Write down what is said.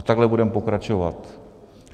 A takhle budeme pokračovat.